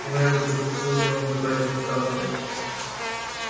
туннель вдруг расступился и он оказались на станции